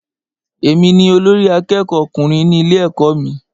Èmi ni olórí àkẹ́kọ̀ọ ọkùnrin ní ilé ẹ̀kọ́ mí.